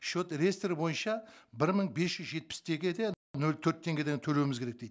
счет реестр бойынша бір мың бес жүз жетпіс теңге нөл төрт теңгеден төлеуіміз керек дейді